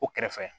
O kɛrɛfɛ